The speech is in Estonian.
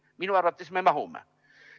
Minu arvates me mahume.